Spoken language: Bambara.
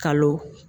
Kalo